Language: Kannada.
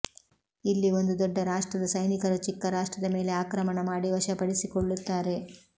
ಇಲ್ಲಿ ಒಂದು ದೊಡ್ಡ ರಾಷ್ಟ್ರದ ಸೈನಿಕರು ಚಿಕ್ಕ ರಾಷ್ಟ್ರದ ಮೇಲೆ ಆಕ್ರಮಣ ಮಾಡಿ ವಶಪಡಿಸಿಕೊಳ್ಳುತ್ತಾರೆ